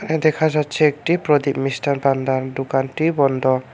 দেখা যাচ্ছে একটি প্রদীপ মিস্টান ভান্ডার দোকানটি বন্ধ।